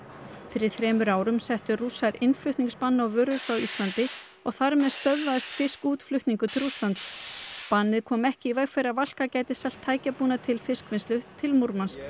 fyrir þremur árum settu Rússar á innflutningsbann á vörur frá Íslandi og þar með stöðvaðist fiskútflutningur til Rússlands bannið kom ekki í veg fyrir að Valka gæti selt tækjabúnað til fiskvinnslu til Múrmansk